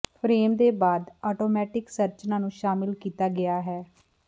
frame ਦੇ ਬਾਅਦ automatic ਸੰਰਚਨਾ ਨੂੰ ਸ਼ਾਮਲ ਕੀਤਾ ਗਿਆ ਹੈ